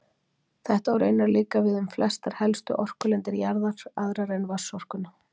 Þetta á raunar líka við um flestar helstu orkulindir jarðar, aðrar en vatnsorkuna.